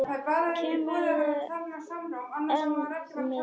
Kemurðu enn með þetta rugl!